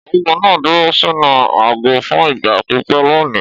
Ọ̀gágun náà dúró sínú àgọ́ fún ìgbà pípẹ́ lónìí.